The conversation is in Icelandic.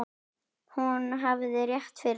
Hún hafði rétt fyrir sér.